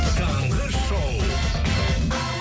таңғы шоу